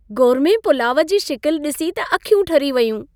Gourmet pulao जी शिकिलि डि॒सी त अखियूं ठरी वयूं।